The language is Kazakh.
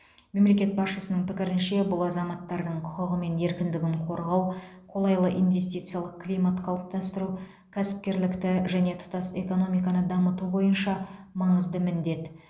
мемлекет басшысының пікірінше бұл азаматтардың құқығы мен еркіндігін қорғау қолайлы инвестициялық климат қалыптастыру кәсіпкерлікті және тұтас экономиканы дамыту бойынша маңызды міндет